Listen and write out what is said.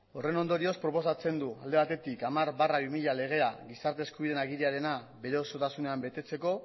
horren ondorioz proposatzen du alde batetik hamar barra bi mila legea gizarte eskubideen agiriarena bere osotasunean betetzeko